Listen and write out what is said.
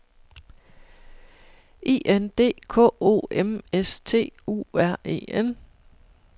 I N D K O M S T U R E N